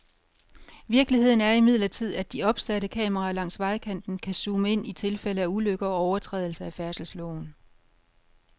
Virkeligheden er imidlertid, at de opsatte kameraer langs vejkanten kan zoome ind i tilfælde af ulykker og overtrædelse af færdselsloven.